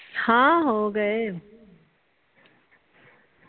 ਹਾਂ ਹੋਗੇ।